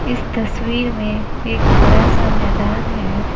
इस तस्वीर में एक बड़ा सा मैदान है।